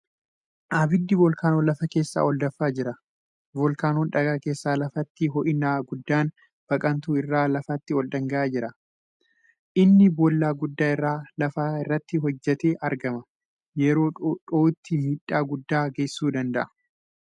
Abiddi voolkaanoo lafa keessaa ol danfaa jira. Voolkaanoon dhagaa keessa lafaatti hoo'inaa guddaan baqantu irra lafaatti ol dhangala'a. Inni boolla guddaa irra lafaa irratti hojjatee argama. Yeroo dhoo'utti miidhaa guddaa geessisuu danda'a.